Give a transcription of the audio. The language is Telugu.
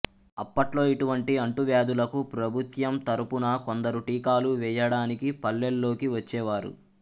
అప్పట్లో ఇటు వంటి అంటు వ్యాదులకు ప్రభుత్యం తరపున కొందరు టీకాలు వేయ డానికి పల్లెల్లోకి వచ్చేవారు